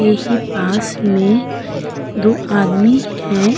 यही पास में दो आदमी हैं।